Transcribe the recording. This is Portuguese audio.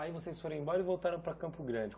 Aí vocês foram embora e voltaram para Campo Grande.